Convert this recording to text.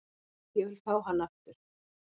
Ég vil fá hann aftur.